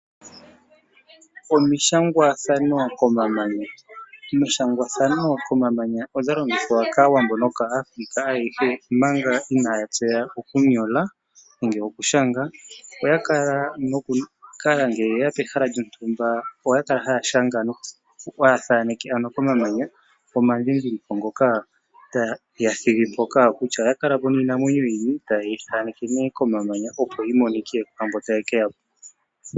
Omishangwathano komamanya Omishangwathano komamanya odha longithwa kaawambo nokaAfrika ayehe, omanga inaa ya tseya okunyola nenge okushanga. Oya kala noku kala, ngele ye ya pehala lyontumba oya kala nokushanga, haya thaaneke ano komamanya omandhindhiliko ngoka taya thigi mpoka kutya oya kala po niinamwenyo yini, taye yi thaaneke nee komamanya, opo yi monike kwaamboka taye ke ya po.